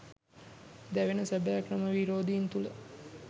දැවෙන සැබෑ ක්‍රම විරෝධීන් තුළ